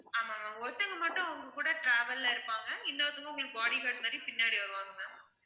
ஆமாம் ma'am ஒருத்தவங்க மட்டும் உங்க கூட travel அ இருப்பாங்க இன்னொருத்தவங்க உங்களுக்கு body guard மாதிரி பின்னாடி வருவாங்க ma'am